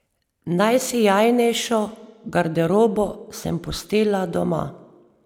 Najsijajnejšo garderobo sem pustila doma.